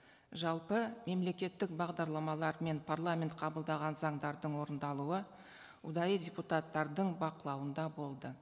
жалпы мемлекеттік бағдарламалар мен парламент қабылдаған заңдардың орындалуы ұдайы депутаттардың бақылауында болды